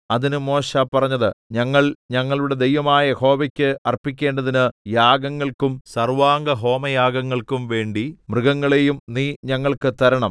അതിന് മോശെ പറഞ്ഞത് ഞങ്ങൾ ഞങ്ങളുടെ ദൈവമായ യഹോവയ്ക്ക് അർപ്പിക്കേണ്ടതിന് യാഗങ്ങൾക്കും സർവ്വാംഗഹോമങ്ങൾക്കും വേണ്ടി മൃഗങ്ങളെയും നീ ഞങ്ങൾക്ക് തരണം